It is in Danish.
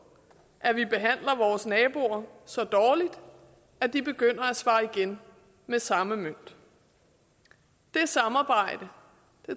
at vi behandler vores naboer så dårligt at de begynder at svare igen med samme mønt det samarbejde